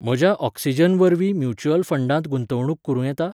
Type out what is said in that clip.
म्हज्या ऑक्सिजन वरवीं म्युच्युअल फंडांत गुंतवणूक करूं येता?